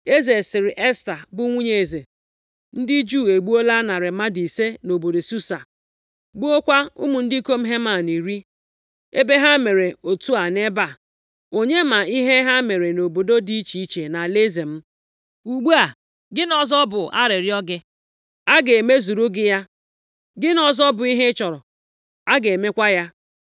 Eze sịrị Esta bụ nwunye eze, “Ndị Juu egbuola narị mmadụ ise nʼobodo Susa, gbukwaa ụmụ ndị ikom Heman iri. Ebe ha mere otu a nʼebe a, onye ma ihe ha mere nʼobodo dị iche iche nʼalaeze m? Ugbu a, gịnị ọzọ bụ arịrịọ gị? A ga-emezuru gị ya. Gịnị ọzọ bụ ihe ị chọrọ? A ga-emekwa ya.”